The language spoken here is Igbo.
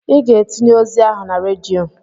I ga-etinye ozi ahụ na redio.